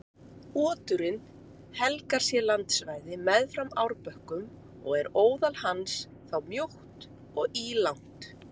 Oturinn helgar sér landsvæði meðfram árbökkum og er óðal hans þá mjótt og ílangt.